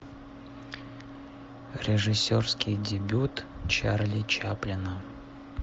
режиссерский дебют чарли чаплина